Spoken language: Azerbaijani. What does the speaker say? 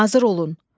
Hazır olun.